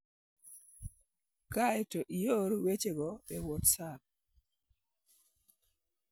Kae to ior wechego e WhatsApp.